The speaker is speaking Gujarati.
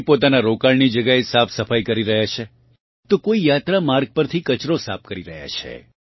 કોઈ પોતાનાં રોકાણની જગ્યાએ સાફસફાઇ કરી રહ્યાં છે તો કોઇ યાત્રા માર્ગ પરથી કચરો સાફ કરી રહ્યાં છે